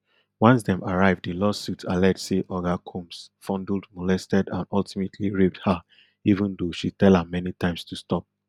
once dem arrive di lawsuit allege say oga combs fondled molested and ultimately raped her even though she tell am many times to stop